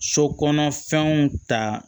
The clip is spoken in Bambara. So kɔnɔ fɛnw ta